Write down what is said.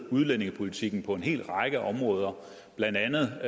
udlændingepolitikken på en hel række områder blandt andet